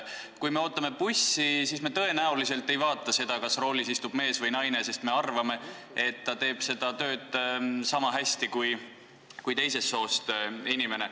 Kui me ootame bussi, siis me tõenäoliselt ei vaata seda, kas roolis istub mees või naine, sest me arvame, et ta teeb seda tööd niisama hästi kui teisest soost inimene.